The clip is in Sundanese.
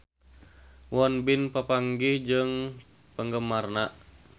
Won Bin papanggih jeung penggemarna